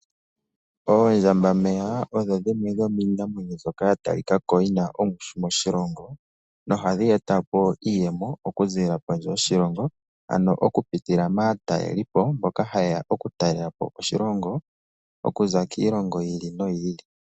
Oondjambameya odho dhimwe dho miinamwenyo nzoka ya talikako yina ongushu moshilongo, noha dhi etapo iiyemo okuziilila pondje yoshilongo ano okupitila maatalelipo mboka ha yeya oku talelapo oshilongo okuza kiilongo yiili noyiili.